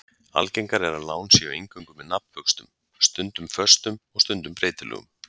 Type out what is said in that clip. Algengara er að lán séu eingöngu með nafnvöxtum, stundum föstum og stundum breytilegum.